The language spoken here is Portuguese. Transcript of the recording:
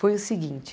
Foi o seguinte...